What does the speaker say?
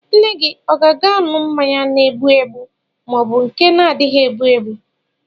Nne gị ọ ga-aṅụ mmanya na-egbụ egbụ ma ọ bụ nke na-adịghị egbu egbu?